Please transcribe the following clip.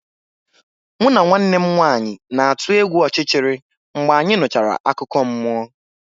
Mụ na nwanne m nwanyị na-atụ egwu ọchịchịrị mgbe anyị nụchara akụkọ mmụọ.